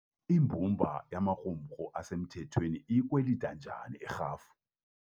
Imbumba yemarumrhu esemthethweni iyikwelita njani irhafu?